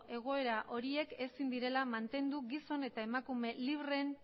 egoera horiek ezin direla mantendu gizon eta emakume libreen